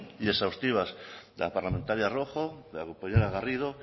y exhaustivas de la parlamentaria rojo de la compañera garrido